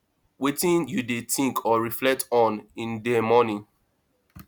wetin you dey think or reflect on in dey morning